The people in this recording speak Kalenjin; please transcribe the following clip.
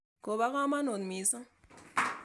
Kopo kamonut missing'.